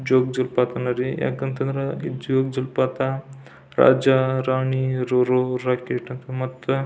ಜೋಗ್ ಜಲಪಾತ ಅಂದ್ರಿ ಜೋಗ್ ಜಲಪಾತ ರಾಜ ರಾಣಿ ರೋರೆರ್ ರಾಕೆಟ್ ಅಂತ ಅಂದ್ ಮತ್--